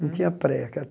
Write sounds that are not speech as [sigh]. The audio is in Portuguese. Não tinha pré. [unintelligible]